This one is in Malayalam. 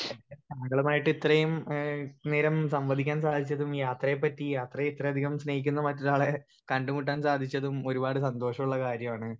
സ്പീക്കർ 1 മ്പളമായിട്ട് ഇത്രേയും ഏഹ് നേരം സംബദിക്കാൻ സഹായിച്ചതിന് യാത്രയെ പറ്റി യാത്രയെ ഇത്രേയധികം സ്നേഹിക്കുന്ന മറ്റൊരാളെ കണ്ട് മുട്ടാൻ സാധിച്ചതും ഒരുപാട് സന്തോഷോള്ള കാര്യാണ്.